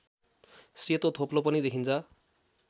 सेतो थोप्लो पनि देखिन्छ